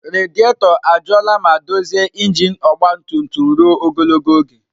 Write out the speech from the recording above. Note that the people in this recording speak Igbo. Rediator ajụọla ma dozie injin ọgba tum tum ruo ogologo oge.